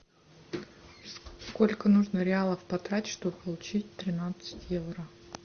сколько нужно реалов потратить чтобы получить тринадцать евро